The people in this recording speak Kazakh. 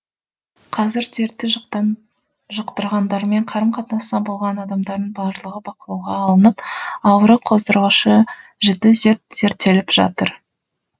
қазір дертті жұқтырғандармен қарым қатынаста болған адамдардың барлығы бақылауға алынып ауру қоздырғышы жіті зерттеліп жатыр